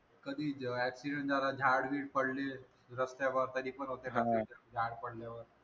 कधी accidient झाल झाड गिड पडली रस्त्यावर तरी पण होते traffic jam झाड पडल्यावर